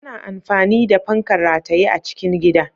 Ana amfani da fankar rataye a cikin gida.